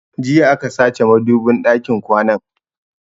Jiya aka sace madubin ɗakin kwanan